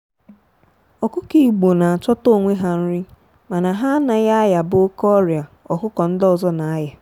ọkụkọ igbo na chọta onwe ha nri mana ha naghị ayaba oke ọrịa ọkụkọ ndị ọzọ na aya.